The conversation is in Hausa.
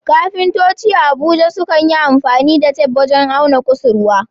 Kafintoci a Abuja sukan yi amfani da tef wajen auna kusurwa.